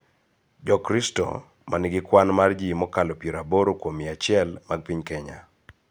Jokristo, ma nigi kwan mar ji mokalo piero aboro kuom mia achiel mag piny Kenya,